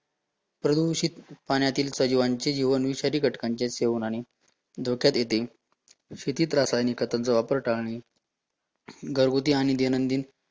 प्रदूषित पाण्यातील सजीवांचे जीवन, विषारी घटकांचे सेवन आणि धोक्यात येते, शेतीत रासायनिक खतांचा वापर टाळणी, घरघुती आणि दैनंदिन